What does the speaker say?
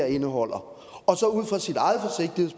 indeholder